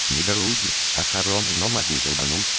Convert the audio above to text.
недорогие но хорошие но могу долго